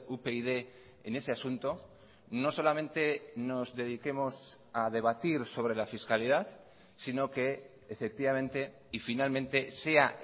upyd en ese asunto no solamente nos dediquemos a debatir sobre la fiscalidad sino que efectivamente y finalmente sea